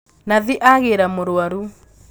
Nathi agīra mūrwaru